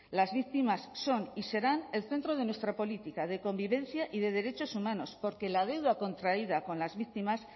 las víctimas son y serán el centro de nuestra política de convivencia y de derechos humanos porque la deuda contraída con las víctimas